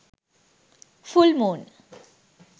full moon